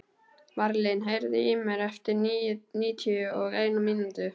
Marlín, heyrðu í mér eftir níutíu og eina mínútur.